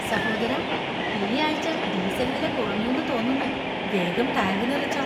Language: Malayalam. സഹോദരാ, ഈ ആഴ്ച ഡീസൽ വില കുറഞ്ഞുന്നു തോന്നുന്നു. വേഗം ടാങ്ക് നിറച്ചോ.